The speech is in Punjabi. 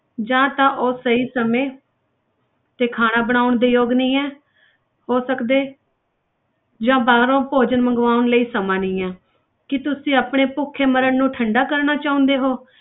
ਜਾਂ ਤਾਂ ਉਹ ਸਹੀ ਸਮੇਂ ਤੇ ਖਾਣਾ ਬਣਾਉਣ ਦੇ ਯੋਗ ਨਹੀਂ ਹੈ ਹੋ ਸਕਦੇ ਜਾਂ ਬਾਹਰੋਂ ਭੋਜਨ ਮੰਗਵਾਉਣ ਲਈ ਸਮਾਂ ਨਹੀਂ ਹੈ ਕੀ ਤੁਸੀਂ ਆਪਣੇ ਭੁੱਖੇ ਮਰਣ ਨੂੰ ਠੰਢਾ ਕਰਨਾ ਚਾਹੁੰਦੇ ਹੋ।